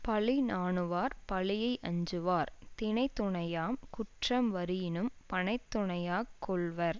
பழி நாணுவார் பழியை அஞ்சுவார் தினைத்துணையாம் குற்றம் வரினும் பனைத்துணையாக் கொள்வர்